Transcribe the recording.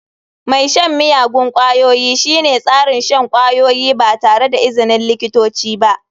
Mai shan miyagun ƙwayoyi shine tsarin shan kwayoyi ba tare da izinin likitoci ba.